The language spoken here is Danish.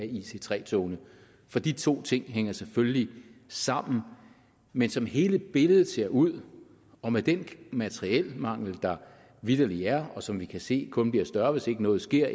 ic3 togene for de to ting hænger selvfølgelig sammen men som hele billedet ser ud og med den materielmangel der vitterlig er og som vi kan se kun bliver større hvis ikke noget sker